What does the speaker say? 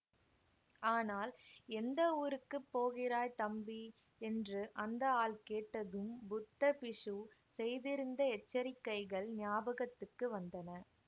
ஆனால் எந்த ஊருக்கு போகிறாய் தம்பி என்று அந்த ஆள் கேட்டதும் புத்த பிக்ஷு செய்திருந்த எச்சரிக்கைகள் ஞாபகத்துக்கு வந்தன